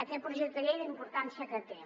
aquest projecte de llei la importància que té